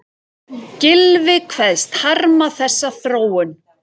Gylfi kveðst harma þessa þróun